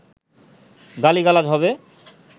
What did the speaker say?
গালি-গালাজ হবে